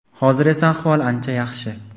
Hozir esa ahvol ancha yaxshi.